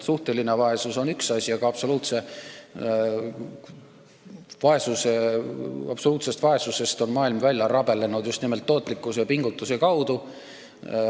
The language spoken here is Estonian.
Suhteline vaesus on üks asi, aga absoluutsest vaesusest on maailm välja rabelenud just nimelt suure tootlikkuse ja pingutuse abil.